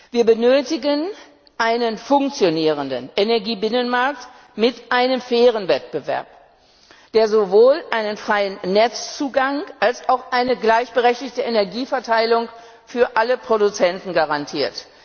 Wir benötigen einen funktionierenden Energiebinnenmarkt mit einem fairen Wettbewerb, der sowohl einen freien Netzzugang als auch eine gleichberechtigte Energieverteilung für alle Produzenten garantiert.